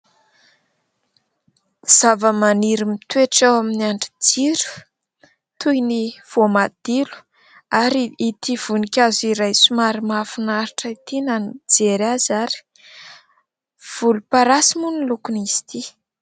Zava-maniry mitoetra ao amin'ny andrin-jiro, toy ny voamadilo. Ary ity voninkazo iray somary mahafinaritra ity na ny nijery aza ary. Volomparasy moa ny lokon' izy ity.